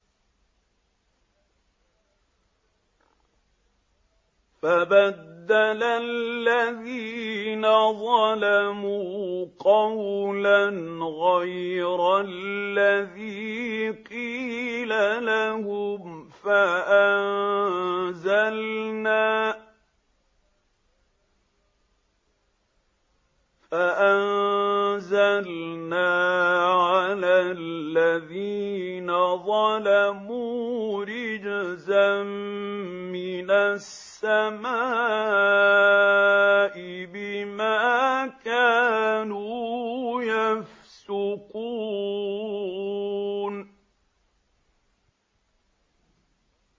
فَبَدَّلَ الَّذِينَ ظَلَمُوا قَوْلًا غَيْرَ الَّذِي قِيلَ لَهُمْ فَأَنزَلْنَا عَلَى الَّذِينَ ظَلَمُوا رِجْزًا مِّنَ السَّمَاءِ بِمَا كَانُوا يَفْسُقُونَ